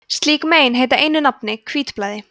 slík mein heita einu nafni hvítblæði